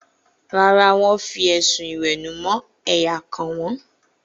Rárá, wọ́n fi ẹ̀sùn ìwẹ̀nùmọ́ ẹ̀yà kàn wọ́n.